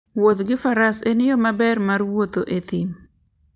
Wuoth gi faras en yo maber mar wuoth e thim.